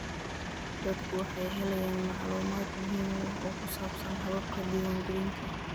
Dadku waxay helayaan macluumaad muhiim ah oo ku saabsan hababka diiwaangelinta.